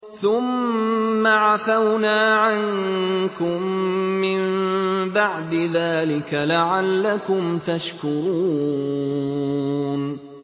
ثُمَّ عَفَوْنَا عَنكُم مِّن بَعْدِ ذَٰلِكَ لَعَلَّكُمْ تَشْكُرُونَ